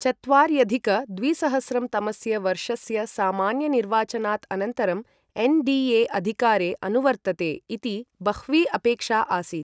चत्वार्यधिक द्विसहस्रं तमस्य वर्षस्य सामान्यनिर्वाचनात् अनन्तरं एन्.डी.ए. अधिकारे अनुवर्तते इति बह्वी अपेक्षा आसीत्।